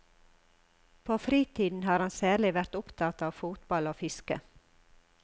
På fritiden har han særlig vært opptatt av fotball og fiske.